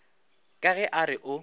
ka ge a re o